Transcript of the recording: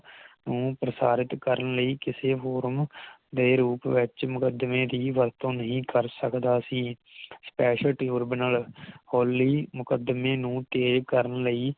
ਨੂੰ ਪ੍ਰਸਾਰਿਤ ਕਰਨ ਲਈ ਕਿਸੇ ਹੋਰ ਨੂੰ ਦੇ ਰੂਪ ਵਿਚ ਮੁਕਦਮੇ ਦੀ ਵਰਤੋਂ ਨਹੀਂ ਕਰ ਸਕਦਾ ਸੀ Special tribunal Holy ਮੁਕਦਮੇ ਨੂੰ ਤੇਏ ਕਰਨ ਲਈ